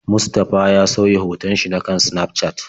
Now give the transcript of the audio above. Mustafa ya sauya hoton shi na kan Snafcat.